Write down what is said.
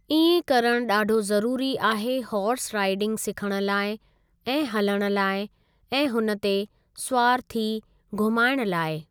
इएं करणु ॾाढो ज़रूरी आहे हॉर्स राइडिंग सिखण लाइ ऐं हलणु लाइ ऐं हुन ते सुवारु थी घुमाइण लाइ।